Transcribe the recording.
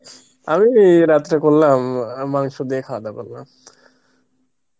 আমি রাত্রে করলাম মাংস দিয়ে খাওয়া দাওয়া করলাম